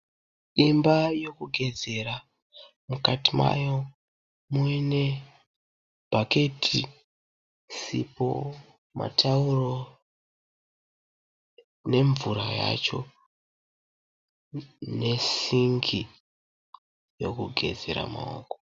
Imba yekugezera. Mukati mayo mune bhaketi, sipo matauro ne mvura yacho nesingi yekugezera maoko.